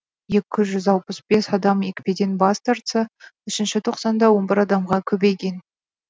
екі жүз алпыс бес адам екпеден бас тартса үшінші тоқсанда он бір адамға көбейген